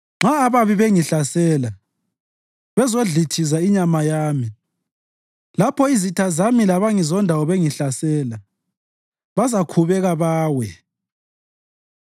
Nxa ababi bengihlasela bezodlithiza inyama yami, lapho izitha zami labangizondayo bengihlasela, bazakhubeka bawe.